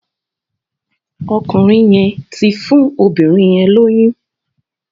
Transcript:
Ọkùnrin yén tí fún obìrin yén lóyún.